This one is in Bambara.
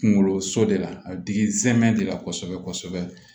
Kunkoloso de la a bɛ digi nsɛmɛ de la kosɛbɛ kosɛbɛ